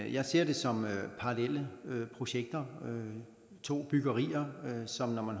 jeg ser det som parallelle projekter to byggerier som når man